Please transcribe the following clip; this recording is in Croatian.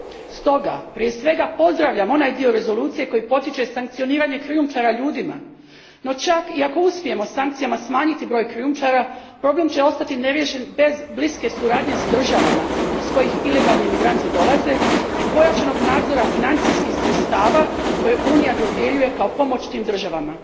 Stoga prije svega pozdravljam onaj dio rezolucije koji potiče sankcioniranje krijumčara ljudima, no čak i ako uspijemo sankcijama smanjiti broj krijumčara, problem će ostati neriješen bez bliske suradnje s državama iz kojih ilegalni imigranti dolaze i pojačanog nadzora financijskih sredstava koje Unija dodjeljuje kao pomoć tim državama.